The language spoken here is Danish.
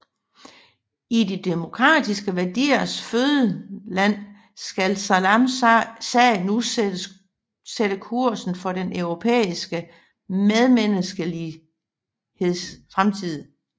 I de demokratiske værdiers fødeland skal Salams sag nu sætte kursen for den europæiske medmenneskeligheds fremtid